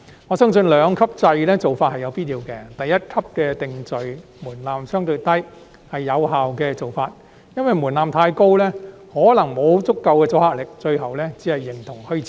我相信兩級制的做法是有必要的，第一級的定罪門檻相對較低，是有效的做法，因為若門檻太高，可能沒有足夠阻嚇力，最後只會形同虛設。